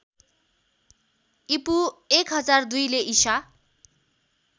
ईपू १००२ ले ईसा